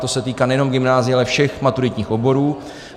To se týká nejen gymnázií, ale všech maturitních oborů.